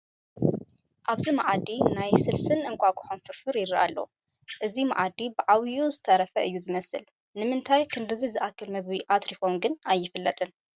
ኣብዚ መኣዲ ናይ ስልስን እንቋቊሖን ፍርፍር ይርአ ላሎ፡፡ እዚ መኣዲ ብዓብዪኡ ዝተረፈ እዩ ዝመስል፡፡ ንምንታይ ክንድዚ ዝኣኽል ምግቢ ኣትሪፎም ግን ኣይፍለጥን፡፡